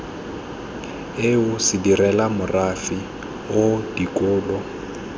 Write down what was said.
eo sedirela morafe oo dikolo